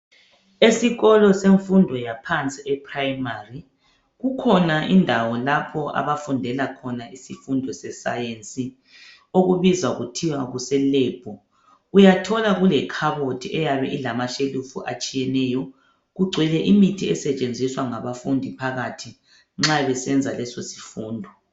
esikolo semfundo yaphansi e primary kukhona indawo lapho abafundela khona isifundo se science okubizwa kuthiwe kuse lab uyathola kule khabothi eyabe ilama shelufu atshiyeneyo kugcwele imithi esetshenziswa ngabafundi phakathi nxa besenza leso sifundo